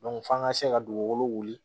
f'an ka se ka dugukolo wuli